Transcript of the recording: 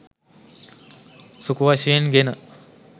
සුඛ වශයෙන් ගෙන